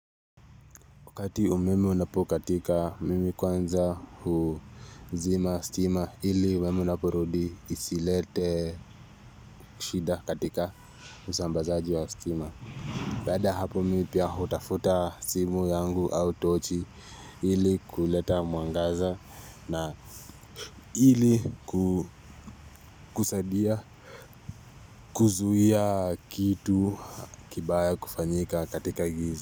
Wakati umeme unapokatika mimi kwanza huzima stima hili umeme unapurudi isilete shida katika usambazaji wa stima. Bada hapo mi pia hutafuta simu yangu au tochi hili kuleta muangaza na hili kusadia kuzuhia kitu kibaya kufanyika katika giza.